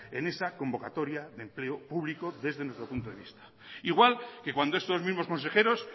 en esa convocatoria de empleo público desde nuestro punto de vista igual que cuando estos mismos consejeros